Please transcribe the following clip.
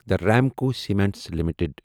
the Ramco cements limited